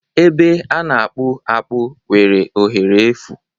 Ebe a na-akpụ akpụ nwere ohere efu